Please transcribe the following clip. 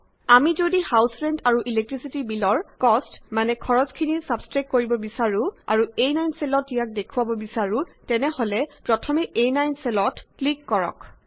আমি যদি house rent আৰু ইলেক্ট্ৰিছিটি বিলৰcost মানে খৰচখিনি ছাব্ছষ্ট্ৰেক্ট কৰিব বিছাৰো আৰু আ9 চেলত ইয়াক দেখাব বিছাৰো তেনেহলে প্ৰথমে আ9 চেলত প্ৰথমে ক্লিক কৰক